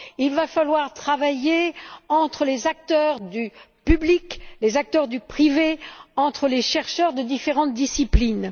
Il va falloir une coopération entre les acteurs du public, les acteurs du privé et les chercheurs de différentes disciplines.